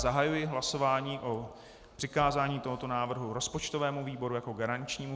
Zahajuji hlasování o přikázání tohoto návrhu rozpočtovému výboru jako garančnímu.